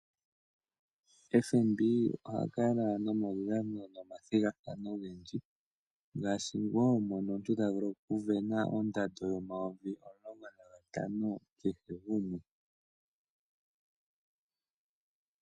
FNB oha kala nomaudhano momathigathano ogendji, ngashi wo mono omuntu ta vulu oku sindana ondando yomayovi omulongo nagatano kehe gumwe.